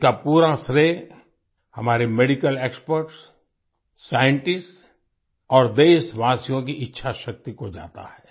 इसका पूरा श्रेय हमारे मेडिकल एक्सपर्ट्स साइंटिस्ट्स और देशवासियोँ की इच्छाशक्ति को जाता है